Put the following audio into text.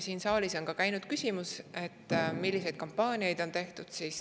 Siit saalist käis läbi küsimus, milliseid kampaaniaid on tehtud.